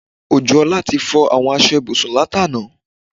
Ojúọlá ti fọ àwọn aṣọ ibùsùn látàná